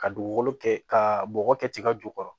Ka dugukolo kɛ ka bɔgɔ kɛ tiga jukɔrɔ